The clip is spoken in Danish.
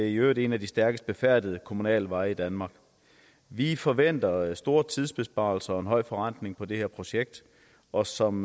i øvrigt en af de stærkest befærdede kommunale veje danmark vi forventer store tidsbesparelser og en høj forrentning på det her projekt og som